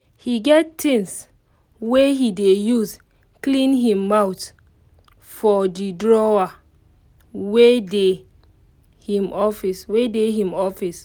he get things wey he dey use clean him mouth for the drawer wey dey im office we dey him office